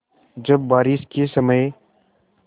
जब बारिश के समय